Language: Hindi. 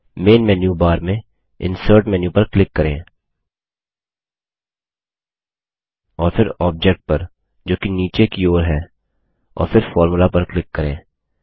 मेन मेन्यू बार में इंसर्ट मेनू इनसर्ट मैन्यू पर क्लिक करें और फिर ऑब्जेक्ट पर जो कि नीचे की ओर है और फिर फॉर्मुला पर क्लिक करें